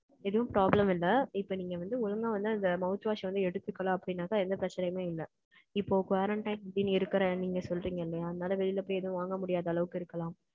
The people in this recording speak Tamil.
எதுவும் problem இல்லை. இப்ப நீங்க வந்து, ஒழுங்கா வந்து, அந்த mouth wash வந்து, எடுத்துக்கலாம் அப்படின்னாக்க, எந்த பிரச்சனையுமே இல்லை இப்போ quarantine இருக்கிற, நீங்க சொல்றீங்க இல்லையா? அதனால, வெளியில போய் எதுவும் வாங்க முடியாத அளவுக்கு இருக்கலாம்.